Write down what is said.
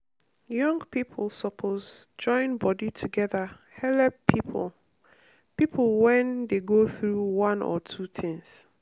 young young people suppose join body together helep people people when dey go through one or two things.